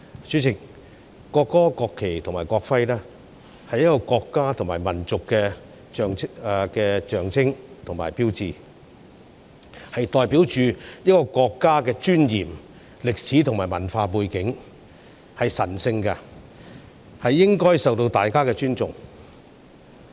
主席，國歌、國旗及國徽，是一個國家及民族的象徵及標誌，代表着一個國家的尊嚴、歷史及文化背景，是神聖的，應該受到大家尊重。